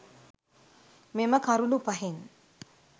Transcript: මෙම කරුණු පහෙන්